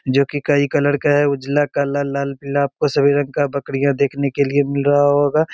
जो की कई कलर का है। उजला काला लाल पीला आपको सभी रंग का बकरियां देखने को मिल रहा होगा।